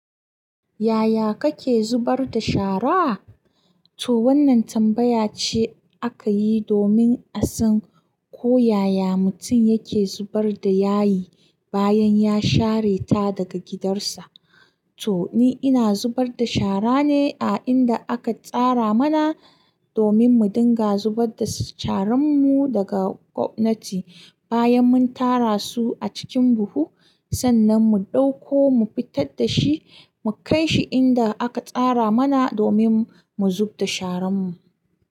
Yaya kake zubar da shara? To wannan tambaya ce aka yi domin a san ko yaya mutum yake zubar da yayi bayan ya share ta daga gidarsa. To ni ina zubar da shara ne a inda aka tsara mana domin mu dinga zubar da sharan mu daga gwamnati bayan mun tara su a cikin buhu, sannan mu ɗauko mu fitar da shi, mu kai shi inda aka tsara mana domin mu zubda sharan mu.